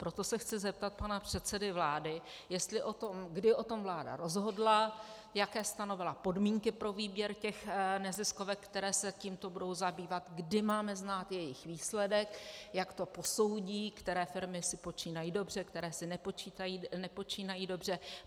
Proto se chci zeptat pana předsedy vlády, kdy o tom vláda rozhodla, jaké stanovila podmínky pro výběr těch neziskovek, které se tímto budou zabývat, kdy máme znát jejich výsledek, jak to posoudí, které firmy si počínají dobře, které si nepočínají dobře.